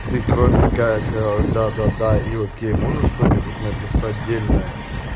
ты кроме как да-да-да и окей можешь что-нибудь написать дельное